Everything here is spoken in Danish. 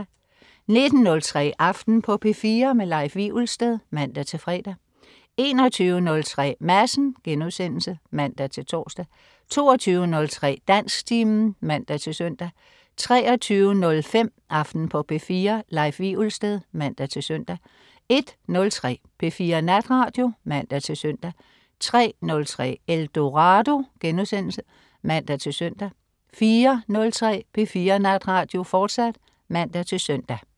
19.03 Aften på P4. Leif Wivelsted (man-fre) 21.03 Madsen* (man-tors) 22.03 Dansktimen (man-søn) 23.05 Aften på P4. Leif Wivelsted (man-søn) 01.03 P4 Natradio (man-søn) 03.03 Eldorado* (man-søn) 04.03 P4 Natradio, fortsat (man-søn)